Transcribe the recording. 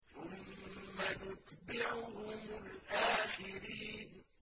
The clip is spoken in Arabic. ثُمَّ نُتْبِعُهُمُ الْآخِرِينَ